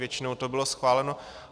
Většinou to bylo schváleno.